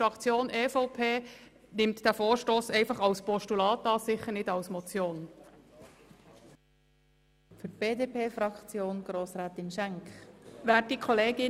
Die Fraktion EVP nimmt den Vorstoss als Postulat an, nicht aber als Motion.